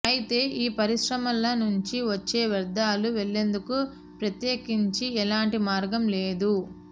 అయితే ఈ పరిశ్రమల నుంచి వచ్చే వ్యర్థాలు వెళ్లేందుకు ప్రత్యేకించి ఎలాంటి మార్గం లేదు